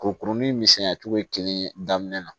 Kurukurunin in misɛnya cogo ye kelen ye daminɛ na